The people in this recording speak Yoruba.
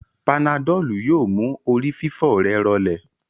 Panadọ́lù yóò mú orí fífọ́ rẹ̀ rọlẹ̀